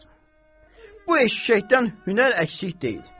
Bu eşşəkdən hünər əksik deyil.